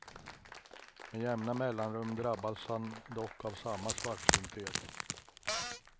Med jämna mellanrum drabbas han dock av samma svartsynthet.